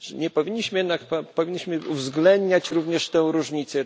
Powinniśmy uwzględniać również tę różnicę.